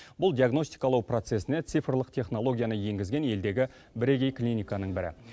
бұл диагностикалау процесіне цифрлық технологияны енгізген елдегі бірегей клиниканың бірі